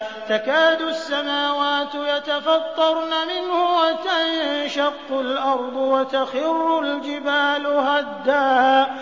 تَكَادُ السَّمَاوَاتُ يَتَفَطَّرْنَ مِنْهُ وَتَنشَقُّ الْأَرْضُ وَتَخِرُّ الْجِبَالُ هَدًّا